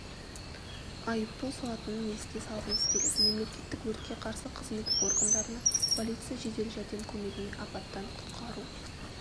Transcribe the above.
айыппұл салатынын еске салғымыз келеді мемлекеттік өртке қарсы қызмет органдарына полиция жедел-жәрдем көмегіне апаттан құтқару